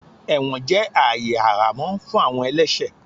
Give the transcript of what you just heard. Ẹwọn jẹ aayè àhamọ fún awọn ẹlẹṣẹ.